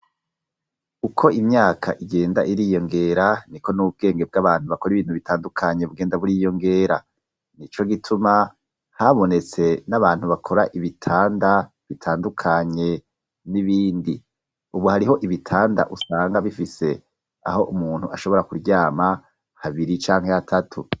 Uko imyaka igenda iriyongera niko n'ubwenge bw'abantu bakora ibintu bitandukanye bugenda buriyongera, nico gituma habonetse n'abantu bakora ibitanda bitandukanye n'ibindi, ubu hariho ibitanda usanga bifise aho umuntu ashobora kuryama habiri canke hatatu.